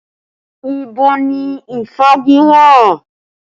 Ibo ni ìfági wà?